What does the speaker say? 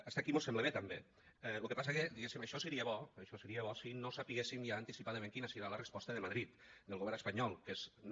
fins aquí mos sembla bé també lo que passa que diguéssim això seria bo això seria bo si no sabéssim ja anticipadament quina serà la resposta de madrid del govern espanyol que és no